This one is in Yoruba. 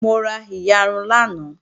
Mo ra iyarun lánàá